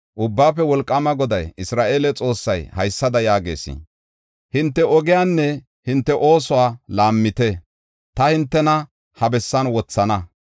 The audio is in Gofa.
Ubbaafe Wolqaama Goday, Isra7eele Xoossay haysada yaagees: hinte ogiyanne hinte oosuwa laammite; ta hintena ha bessan wothana.